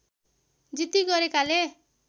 जिद्दी गरेकाले